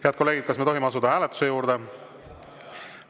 Head kolleegid, kas me tohime asuda hääletuse juurde?